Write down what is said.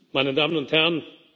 Meine Damen und Herren!